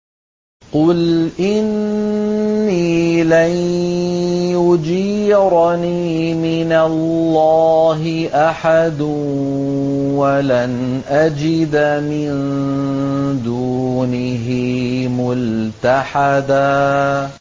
قُلْ إِنِّي لَن يُجِيرَنِي مِنَ اللَّهِ أَحَدٌ وَلَنْ أَجِدَ مِن دُونِهِ مُلْتَحَدًا